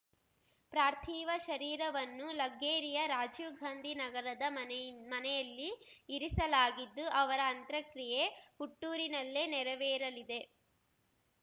ಪ್ರಾರ್ಥಿವ ಶರೀರವನ್ನು ಲಗ್ಗೆರೆಯ ರಾಜೀವ್ ಗಾಂಧಿ ನಗರದ ಮನೆಯಿ ಮನೆಯಲ್ಲಿ ಇರಿಸಲಾಗಿದ್ದು ಅವರ ಅಂತ್ರಕ್ರಿಯೆ ಹುಟ್ಟೂರಿನಲ್ಲೇ ನೆರವೇರಲಿದೆ